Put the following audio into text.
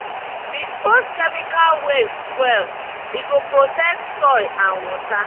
dispose chemical waste well—e go protect soil and water.